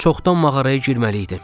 Çoxdan mağaraya girməliydi.